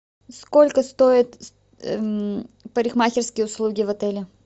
сколько стоит парикмахерские услуги в отеле